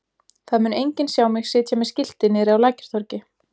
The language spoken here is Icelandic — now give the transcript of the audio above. Það mun enginn sjá mig sitja með skilti niðri á Lækjartorgi.